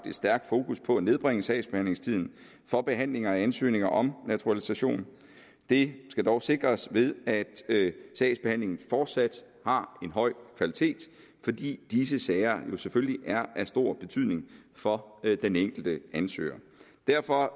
et stærkt fokus på at nedbringe sagsbehandlingstiden for behandlingen af ansøgninger om naturalisation det skal dog sikres ved at sagsbehandlingen fortsat har en høj kvalitet fordi disse sager jo selvfølgelig er af stor betydning for den enkelte ansøger derfor